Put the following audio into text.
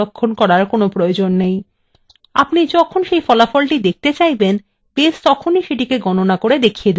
আপনি যখনি ফলাফল দেখতে চাইবেন base তেখনি সেটাকে গণনা করা দেখিয়ে দেবে